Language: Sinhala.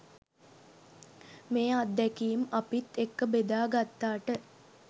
මේ අත්දැකීම් අපිත් එක්ක ‍බෙදා ගත්තාට.